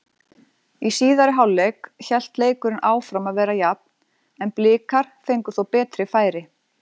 Í síðari hálfleik hélt leikurinn áfram að vera jafn en Blikar fengu þó betri færi.